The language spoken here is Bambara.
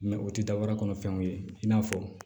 o tɛ da wɛrɛ kɔnɔ fɛnw ye i n'a fɔ